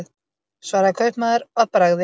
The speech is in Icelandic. svaraði kaupmaður að bragði.